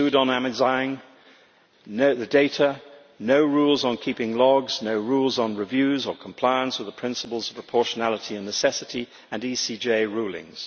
pseudonymising data, no rules on keeping logs, no rules on reviews or compliance with the principles of proportionality and necessity and ECJ rulings.